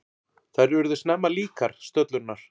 Þær urðu snemma líkar, stöllurnar.